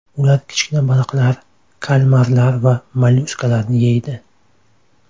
Ular kichik baliqlar, kalmarlar va mollyuskalarni yeydi.